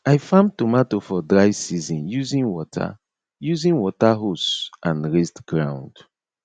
i farm tomato for dry season using water using water hose and raised ground